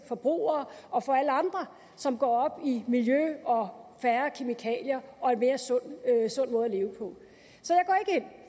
forbrugere og for alle andre som går i miljø og færre kemikalier og en mere sund måde